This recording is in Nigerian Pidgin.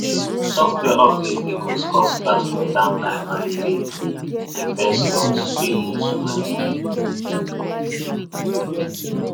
software updates dey cause cause platform downtime and e dey investors dey lose money